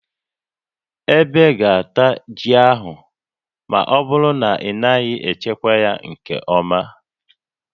Ebe ga-ata ji a ma ọ bụrụ na ị naghị echekwa ya nke ọma